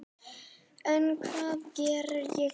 En hvað geri ég svo?